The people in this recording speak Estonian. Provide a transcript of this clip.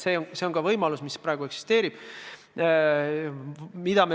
See on võimalus, mis eksisteerib ka praegu.